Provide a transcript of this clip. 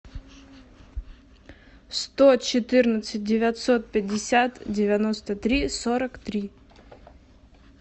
сто четырнадцать девятьсот пятьдесят девяносто три сорок три